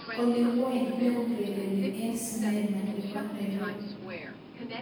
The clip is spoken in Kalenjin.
Olly wany ne neurereni en sinema nebo nairobi